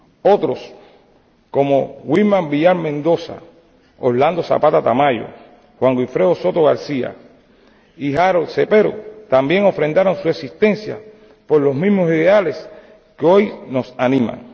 Otros, como Wilman Villar Mendoza, Orlando Zapata Tamayo, Juan Wilfredo Soto García y Harold Cepero, también ofrendaron su existencia por los mismos ideales que hoy nos animan.